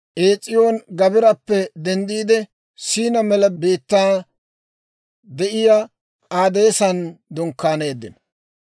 Ees'iyooni-Gaabirappe denddiide, S'iina mela biittan de'iyaa K'aadeesan dunkkaaneeddino.